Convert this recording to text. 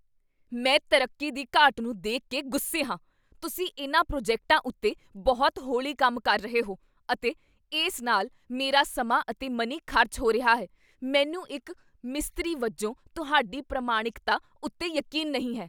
ਮੈਂ ਤਰੱਕੀ ਦੀ ਘਾਟ ਨੂੰ ਦੇਖ ਕੇ ਗੁੱਸੇ ਹਾਂ। ਤੁਸੀਂ ਇਨ੍ਹਾਂ ਪ੍ਰੋਜੈਕਟਾਂ ਉੱਤੇ ਬਹੁਤ ਹੌਲੀ ਕੰਮ ਕਰ ਰਹੇ ਹੋ ਅਤੇ ਇਸ ਨਾਲ ਮੇਰਾ ਸਮਾਂ ਅਤੇ ਮਨੀ ਖ਼ਰਚ ਹੋ ਰਿਹਾ ਹੈ, ਮੈਨੂੰ ਇੱਕ ਮਿਸਤਰੀ ਵਜੋਂ ਤੁਹਾਡੀ ਪ੍ਰਮਾਣਿਕਤਾ ਉੱਤੇ ਯਕੀਨ ਨਹੀਂ ਹੈ।